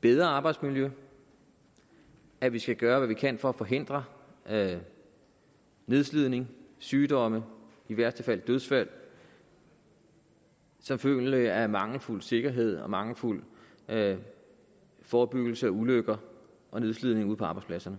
bedre arbejdsmiljø at vi skal gøre hvad vi kan for at forhindre nedslidning sygdom i værste fald dødsfald som følge af mangelfuld sikkerhed og mangelfuld forebyggelse af ulykker og nedslidning ude på arbejdspladserne